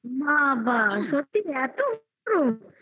বাবা সত্যি এত গরম?